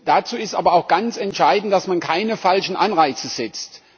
Dazu ist aber auch ganz entscheidend, dass man keine falschen Anreize setzt.